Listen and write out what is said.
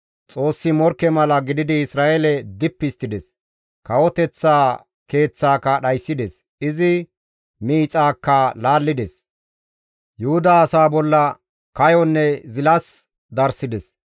Xoossi morkke mala gididi Isra7eele dippi histtides; kawoteththa keeththaaka dhayssides; izi miixaakka laallides; Yuhuda asaa bolla kayonne zilas darssides.